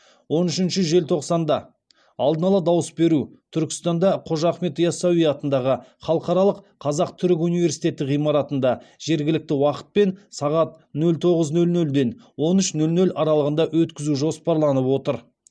он үшінші желтоқсанда алдын ала дауыс беру түркістанда қожа ахмет ясауи атындағы халықаралық қазақ түрік университеті ғимаратында жергілікті уақытпен сағат нөл тоғыз нөл нөлден он үш нөл нөл аралығында өткізу жоспарланып отыр